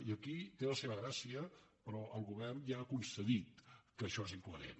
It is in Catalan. i aquí té la seva gràcia però el govern ja ha concedit que això és incoherent